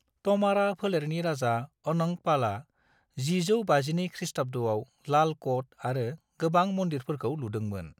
त'मारा फोलेरनि राजा अनंग पालआ 1052 खृस्टाब्द'आव लाल क'ट आरो गोबां मंदिरफोरखौ लुदोंमोन।